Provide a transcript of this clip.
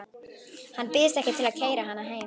Hann býðst ekki til að keyra hana heim.